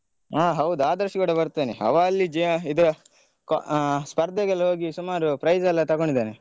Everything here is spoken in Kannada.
ಹಾ ಹೌದು ಆದರ್ಶ್ ಕೂಡ ಬರ್ತಾನೆ. ಅವನು ಅಲ್ಲಿ ಜ ಇದು ಆ ಸ್ಪರ್ಧೆಗೆಲ್ಲ ಹೋಗಿ ಸುಮಾರು prize ಎಲ್ಲ ತಗೊಂಡಿದ್ದಾನೆ.